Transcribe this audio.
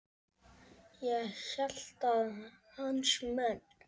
Ég hélt að hans menn.